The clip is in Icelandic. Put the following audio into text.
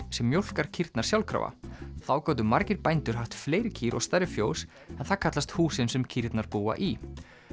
sem mjólkar kýrnar sjálfkrafa þá gátu margir bændur haft fleiri kýr og stærri fjós en það kallast húsin sem kýrnar búa í